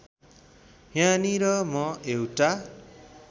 यहाँनिर म एउटा